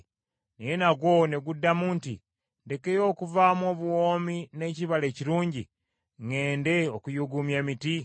Naye nagwo ne guddamu nti, ‘Ndekeyo okuvaamu obuwoomi n’ekibala ekirungi, ŋŋende okuyuuguumya emiti?’